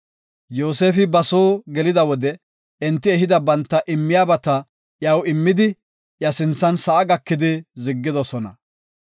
Yoosefi ba soo gelida wode enti ehida banta immiyabata iyaw immidi, iya sinthan sa7a gakidi ziggidosona.